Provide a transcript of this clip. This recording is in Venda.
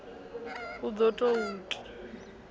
u d o t ut